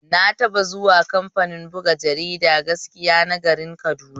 Na taɓa zuwa kamfanin buga jaridar gaskiya na garin Kaduna.